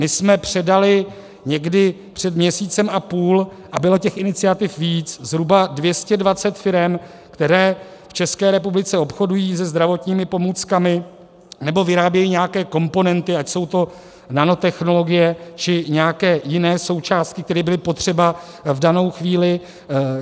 My jsme předali někdy před měsícem a půl - a bylo těch iniciativ víc, zhruba 220 firem, které v České republice obchodují se zdravotními pomůckami nebo vyrábějí nějaké komponenty, ať jsou to nanotechnologie, či nějaké jiné součásti, které byly potřeba v danou chvíli.